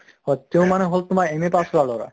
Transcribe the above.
হয় তেওঁ মানে হʼলে তোমাৰ MA pass কৰা লʼৰা